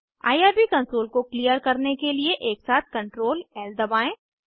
IRB console को clear करने के लिए एकसाथ CtrlL दबाएं